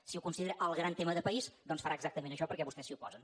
si ho considera el gran tema de país doncs farà exactament això perquè vostès s’hi oposen